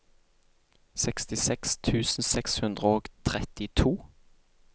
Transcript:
sekstiseks tusen seks hundre og trettito